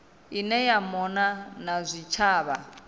ine ya mona na zwitshavha